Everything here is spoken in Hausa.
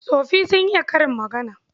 Tsoffi sun iya karin magana..